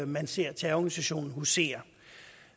man ser terrororganisationen husere